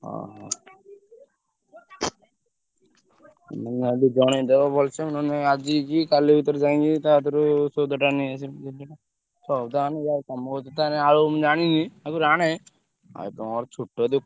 ହଁ। ମୁଁ କହିଲି ଜଣେଇଦବ ଭଲସେ ନହେଲେ ଆଜି ଯିବି କାଲି ଭିତରେ ଯାଇକି ତା ଠାରୁ ସଉଦାଟା ନେଇଆସିବି। ସଉଦା ଆଣିବି ଆଉ ତମ କତିରୁ ଆଳୁ ଆଣିବି ଆଗୁରୁ ଆଣେ। ଆଉ ତ ମୋର ଛୋଟ।